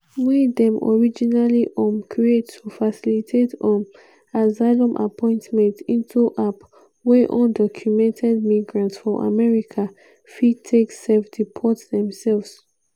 wey dem originally um create to facilitate um asylum appointment – into app wey undocumented migrants for america fit take "self-deport" themselves.